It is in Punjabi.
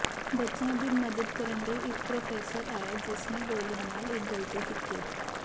ਬੱਚਿਆਂ ਦੀ ਮਦਦ ਕਰਨ ਲਈ ਇੱਕ ਪ੍ਰੋਫੈਸਰ ਆਇਆ ਜਿਸ ਨੇ ਗੋਲੀਆਂ ਨਾਲ ਇੱਕ ਗਲਤੀ ਕੀਤੀ